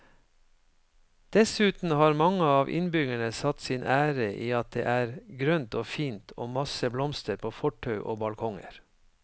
Dessuten har mange av innbyggerne satt sin ære i at det er grønt og fint og masse blomster på fortau og balkonger.